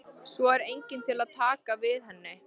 Svo er enginn til að taka við henni.